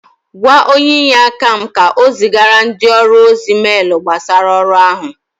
Gwa onye inyeaka m ka o zigara ndị ọrụ ozi meelu gbasara ọrụ áhụ